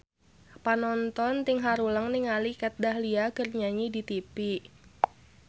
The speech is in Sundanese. Panonton ting haruleng ningali Kat Dahlia keur nyanyi di tipi